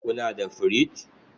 Kuna da firich?